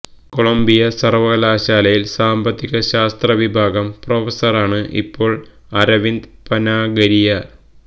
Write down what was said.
Colombia സര്വകലാശാലയില് സാമ്പത്തിക ശാസ്ത്ര വിഭാഗം പ്രൊഫസറാണ് ഇപ്പോള് അരവിന്ദ് പനാഗരിയ